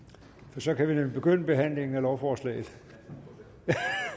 for så kan vi nemlig begynde behandlingen af lovforslaget